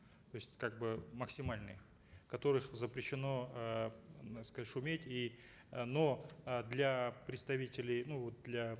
то есть как бы максимальный в которых запрещено эээ шуметь и э но э для представителей ну вот для